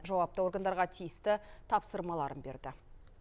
жауапты органдарға тиісті тапсырмаларын берді